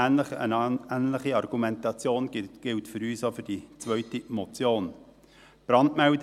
Eine ähnliche Argumentation gilt für uns auch für die zweite Motion .